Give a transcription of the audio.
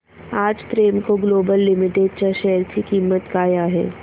आज Premco global limited च्या share ची किंमत काय आहे